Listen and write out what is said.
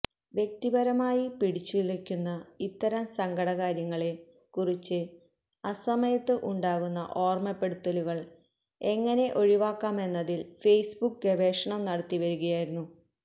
വ്യക്തിപരമായി പിടിച്ചുലയ്ക്കുന്ന ഇത്തരം സങ്കടകാര്യങ്ങളെ കുറിച്ച് അസമയത്ത് ഉണ്ടാകുന്ന ഓര്മ്മപ്പെടുത്തലുകള് എങ്ങനെ ഒഴിവാക്കാമെന്നതില് ഫേസ്ബുക്ക് ഗവേഷണം നടത്തി വരികയായിരുന്നു